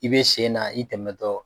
I bɛ sen na i tɛmɛtɔ.